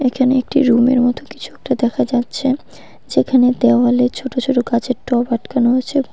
এখানে একটি রুমের মতো কিছু একটা দেখা যাচ্ছে যেখানে দেওয়ালে ছোট ছোট গাছের টব আটকানো আছে।